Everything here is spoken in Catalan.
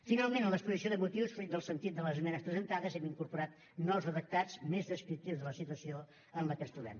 finalment en l’exposició de motius fruit del sentit de les esmenes presentades hem incorporat nous redactats més descriptius de la situació en la que ens trobem